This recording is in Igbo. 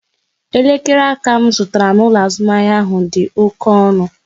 Elekere aka m zụtara n'ụlọ azụmahịa ahụ dị oké ọnụ